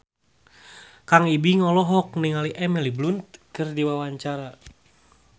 Kang Ibing olohok ningali Emily Blunt keur diwawancara